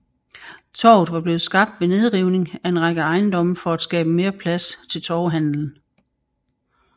Torvet var blevet skabt ved nedrivning af en række ejendomme for at skaffe mere plads til torvehandelen